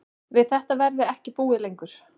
Við þetta verði ekki búið lengur